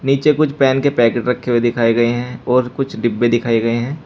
नीचे कुछ पेन के पैकेट रखे हुए दिखाए गए हैं और कुछ डिब्बे दिखाए गए हैं।